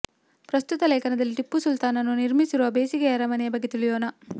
ಪ್ರಸ್ತುತ ಲೇಖನದಲ್ಲಿ ಟಿಪ್ಪು ಸುಲ್ತಾನನು ನಿರ್ಮಿಸಿರುವ ಬೇಸಿಗೆ ಅರಮನೆಯ ಬಗ್ಗೆ ತಿಳಿಯೋಣ